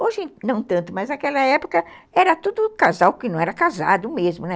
Hoje, não tanto, mas naquela época era tudo casal que não era casado mesmo, né?